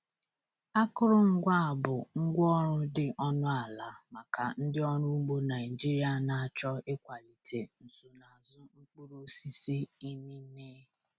Akụrụngwa a bụ ngwá ọrụ dị ọnụ ala maka ndị ọrụ ugbo Naijiria na-achọ ịkwalite nsonaazụ mkpụrụ osisi inine.